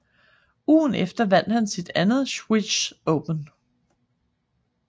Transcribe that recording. Ugen efter vandt han sit andet Swiss Open